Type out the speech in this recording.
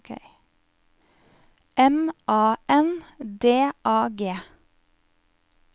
M A N D A G